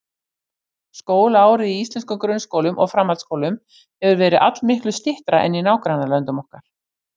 Skólaárið í íslenskum grunnskólum og framhaldsskólum hefur verið allmiklu styttra en í nágrannalöndum okkar.